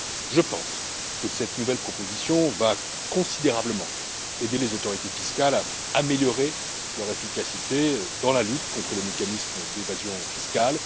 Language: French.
Je pense que cette nouvelle proposition va considérablement aider les autorités fiscales à améliorer leur efficacité dans la lutte contre les mécanismes d'évasion fiscale.